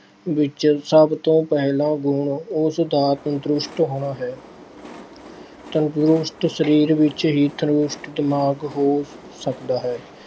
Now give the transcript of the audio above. ਵਿੱਚ ਸਭ ਤੋਂ ਪਹਿਲਾਂ ਗੁਣ ਉਸਦਾ ਤੰਦਰੁਸਤ ਹੋਣਾ ਹੈ। ਤੰਦਰੁਸਤ ਸਰੀਰ ਵਿੱਚ ਹੀ ਤੰਦਰੁਸਤ ਦਿਮਾਗ ਹੋ ਸਕਦਾ ਹੈ।